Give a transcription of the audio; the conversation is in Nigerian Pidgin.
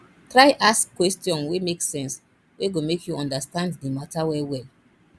try ask question wey mek sense wey go mek yu understand the mata well well